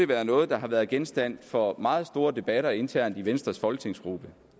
være noget der har været genstand for meget store debatter internt i venstres folketingsgruppe